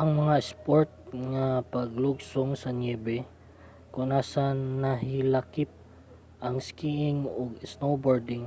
ang mga sport nga paglugsong sa niyebe kon asa nahilakip ang skiing ug snowboarding